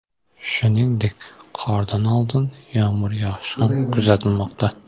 Shuningdek, qordan oldin yomg‘ir yog‘ishi ham kutilmoqda.